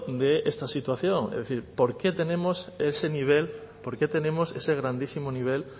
de esta situación es decir por qué tenemos ese nivel por qué tenemos ese grandísimo nivel